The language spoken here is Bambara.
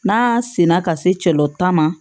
N'a senna ka se cɛ ta ma